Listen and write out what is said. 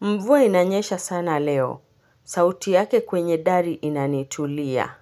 Mvua inanyesha sana leo. Sauti yake kwenye dari inanitulia.